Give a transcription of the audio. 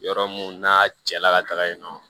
Yɔrɔ mun n'a cɛla ka taga yen nɔ